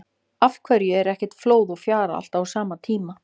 Af hverju er ekki flóð og fjara alltaf á sama tíma?